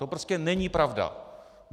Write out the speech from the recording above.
To prostě není pravda.